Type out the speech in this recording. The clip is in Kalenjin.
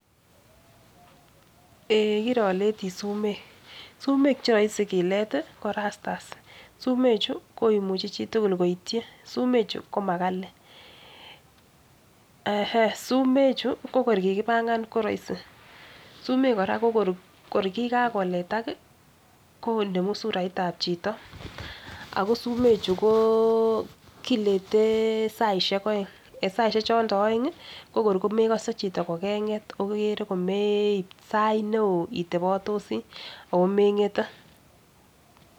Eeh kiroletii sumek sumek cheroisi kilet ko rusters sumek chuu komuche chitukul koityin, sumekchu ko makali eeh eeh sumek chuu ko kor kikipangan koroisi, sumek Koraa ko korkikakoletak konemu suraitab chito ako sumechu koo kilete saishek oeng en saishek chondo oengi ko korko mekose chito ko kenget okere ko meib sait neo itebotosii ako mengete.